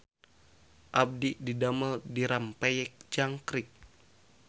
Abdi didamel di Rempeyek Jangkrik